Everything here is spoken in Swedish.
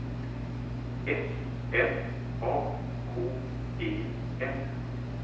S M A K E N